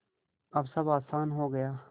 अब सब आसान हो गया